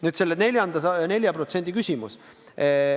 Nüüd selle 4% küsimus.